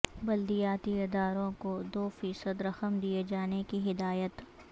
بلدیاتی اداروں کو دوفیصد رقم دیئے جانے کی ہدایت